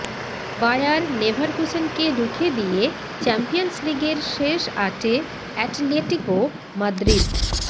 buyer লেভারকুসেনকে রুখে দিয়ে চ্যাম্পিয়ন্স লিগের শেষ আটে অ্যাটলেটিকো মাদ্রিদ